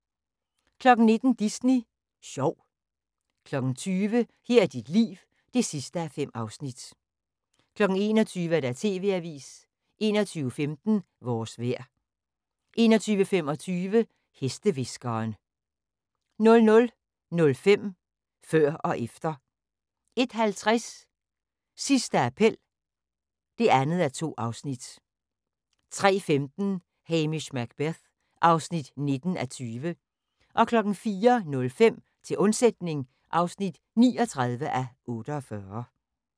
19:00: Disney sjov 20:00: Her er dit liv (5:5) 21:00: TV-avisen 21:15: Vores vejr 21:25: Hestehviskeren 00:05: Før og efter 01:50: Sidste appel (2:2) 03:15: Hamish Macbeth (19:20) 04:05: Til undsætning (39:48)